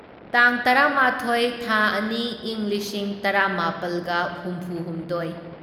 ꯇꯥꯡ ꯇꯔꯥꯃꯥꯊꯣꯢ ꯊꯥ ꯑꯅꯤ ꯢꯪ ꯂꯤꯁꯤꯡ ꯇꯔꯥꯃꯥꯄꯜꯒ ꯍꯨꯝꯐꯨꯍꯨꯝꯗꯣꯢ